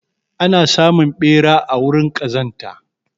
Ana samun ɓera a wurin ƙazanta.